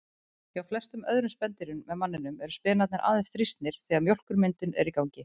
Hjá flestum öðrum spendýrum en manninum eru spenarnir aðeins þrýstnir þegar mjólkurmyndun er í gangi.